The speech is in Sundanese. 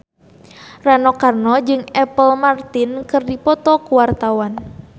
Rano Karno jeung Apple Martin keur dipoto ku wartawan